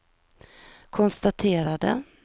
konstaterade